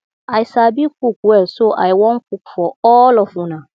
i sabi cook well so i wan cook for all of una